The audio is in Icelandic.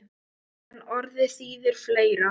En orðið þýðir fleira.